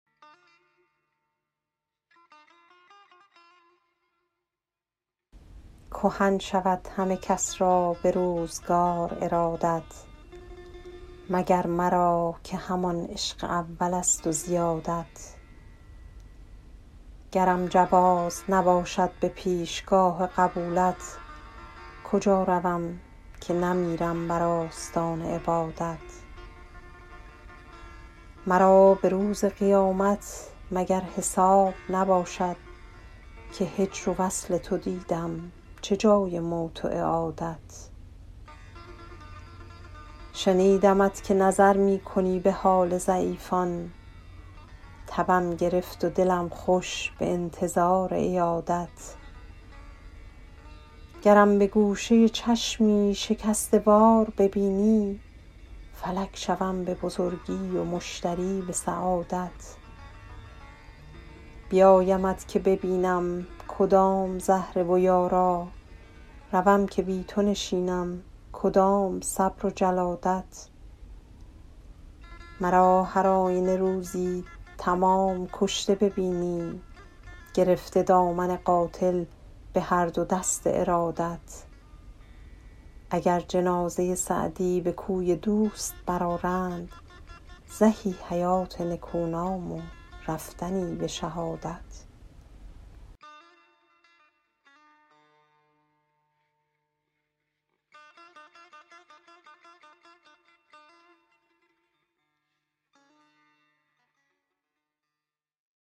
کهن شود همه کس را به روزگار ارادت مگر مرا که همان عشق اولست و زیادت گرم جواز نباشد به پیشگاه قبولت کجا روم که نمیرم بر آستان عبادت مرا به روز قیامت مگر حساب نباشد که هجر و وصل تو دیدم چه جای موت و اعادت شنیدمت که نظر می کنی به حال ضعیفان تبم گرفت و دلم خوش به انتظار عیادت گرم به گوشه چشمی شکسته وار ببینی فلک شوم به بزرگی و مشتری به سعادت بیایمت که ببینم کدام زهره و یارا روم که بی تو نشینم کدام صبر و جلادت مرا هر آینه روزی تمام کشته ببینی گرفته دامن قاتل به هر دو دست ارادت اگر جنازه سعدی به کوی دوست برآرند زهی حیات نکونام و رفتنی به شهادت